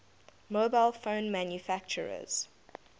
mobile phone manufacturers